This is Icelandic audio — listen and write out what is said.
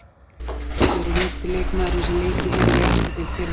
Hver er yngsti leikmaðurinn sem leikið hefur í efstu deild hér á landi?